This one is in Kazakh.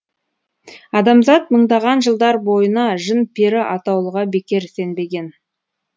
адамзат мыңдаған жылдар бойына жын пері атаулыға бекер сенбеген